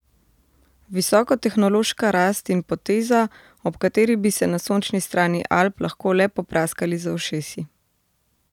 Visokotehnološka rast in poteza, ob kateri bi se na sončni strani Alp lahko le popraskali za ušesi.